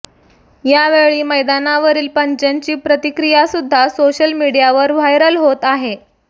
यावेळी मैदानावरील पंचांची प्रतिक्रियासुद्धा सोळल मिडियावर व्हायरल होत आहे